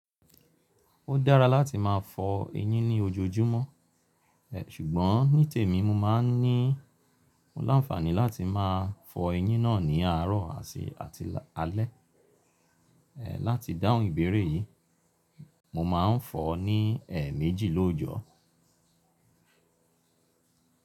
Ó dára láti máa fọ eyín ní ojoojúmọ́, ṣùgbọ́n nítèmi mo máa ń ní láǹfàní láti máa fọ eyín náà ní àárọ̀ àti alẹ́. Láti dáhùn ìbéèrè yí, mo máa ń fọ ọ́ ní èe méjì lójọ.